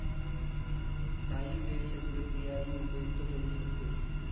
काही वेळ शस्त्रक्रियाही उपयुक्त ठरू शकते.